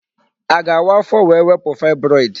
A ga-awa afọ wee wepụ fibroid?